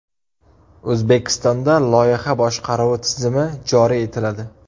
O‘zbekistonda loyiha boshqaruvi tizimi joriy etiladi.